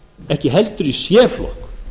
ekki heldur í c flokk